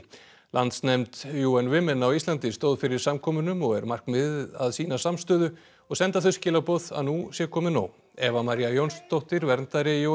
landsnefnd Women á Íslandi stóð fyrir samkomunum og er markmiðið að sýna samstöðu og senda þau skilaboð að nú sé komið nóg Eva María Jónsdóttir verndari